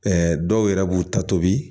dɔw yɛrɛ b'u ta tobi